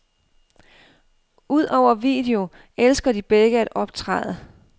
Udover video elsker de begge at optræde.